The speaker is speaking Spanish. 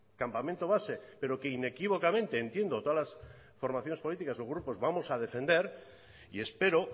campamento base pero que inequívocamente entiendo todas formaciones políticas o grupos vamos a defender y espero